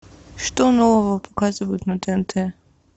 что нового показывают на тнт